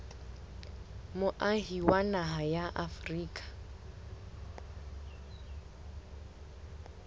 moahi wa naha ya afrika